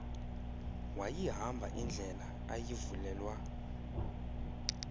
wayihamba indlela ayivulelwa